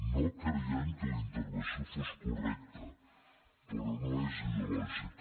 no creiem que la intervenció fos correcta però no és ideològica